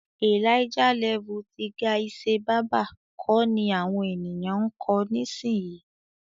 "Elijah level" ti Gaise Baba kọ ni àwọn ènìyàn ń kọ nísìyí.